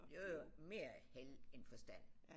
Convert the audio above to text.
Det var jo mere held end forstand